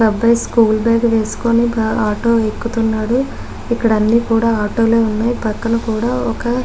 ఒక అబ్బాయి school bag వెస్కొని ఆటో ఎక్కుతున్నాడు ఇక్కడ అన్ని ఆటోలు ఉన్నాయి పక్కన కూడా --